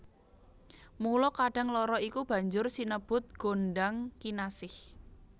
Mula kadang loro iku banjur sinebut gondhang kinasih